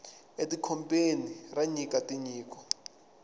e ti kobeni ra nyika tinyiko